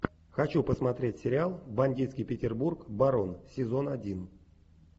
хочу посмотреть сериал бандитский петербург барон сезон один